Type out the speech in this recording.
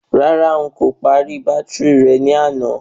Rárá,n kò pàrọ̀ bátìrì rẹ ní àná.